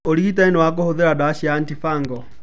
Ũrigitani nĩ wa kũhũthĩra ndawa cia antifungal.